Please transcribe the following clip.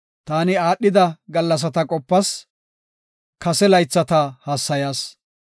Taani aadhida gallasata qopas; kase laythata hassayas.